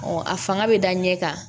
a fanga bɛ da ɲɛ kan